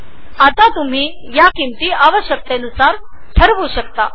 आता तुम्ही तुमच्या गरजेनुसार रेट्स निश्चित करु शकता